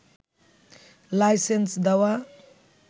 licence দেওয়া